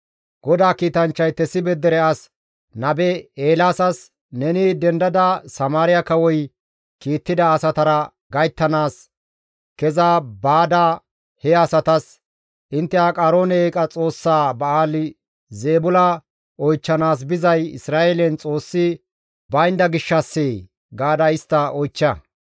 GODAA kiitanchchay Tesibe dere as nabe Eelaasas, «Neni dendada Samaariya kawoy kiittida asatara gayttanaas keza baada he asatas, ‹Intte Aqaroone eeqa xoossaa Ba7aali-Zeebula oychchanaas bizay Isra7eelen Xoossi baynda gishshassee?› gaada istta oychcha.